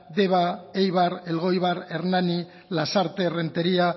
deba eibar elgoibar hernani lasarte renteria